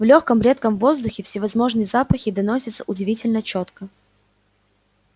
в лёгком редком воздухе всевозможные запахи доносятся удивительно чётко